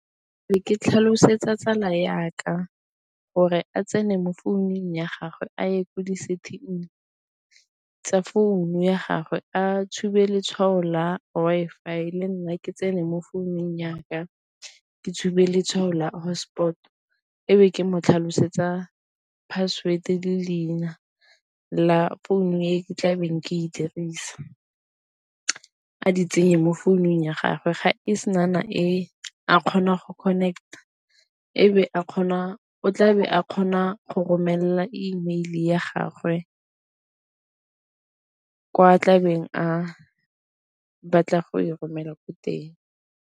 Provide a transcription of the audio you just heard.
Ne ke tlhalosetsa tsala ya ka gore a tsene mo founung ya gagwe a ye kwa di-setting tsa founu ya gagwe, a tshube letshwao la Wi-Fi le nna ke tsene mo founung ya ka ke tshube letshwao la hotspot, ebe ke mo tlhalosetsa password le leina la founu e ke tlabeng ke e dirisa, a di tsenye mo founung ya gagwe ga e se e kgona go connect ebe a kgona, o tlabe a kgona go romelela email ya gagwe kwa tlabeng a batla go e romela ko teng.